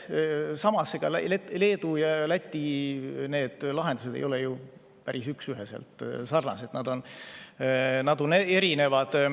Samas, ega Leedu ja Läti lahendused ei ole ju üksüheselt sarnased, need on erinevad.